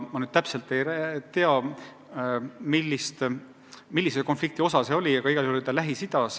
Ma täpselt ei tea, mis konfliktiga tegu oli, aga igal juhul oli see Lähis-Idas.